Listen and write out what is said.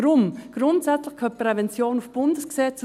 Deshalb: Grundsätzlich gehört Prävention ins Bundesgesetz.